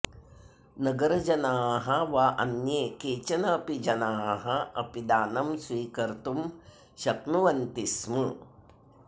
नगरजनाः वा अन्ये केचन अपि जनाः अपि दानं स्वीकर्तुं शक्नुवन्ति स्म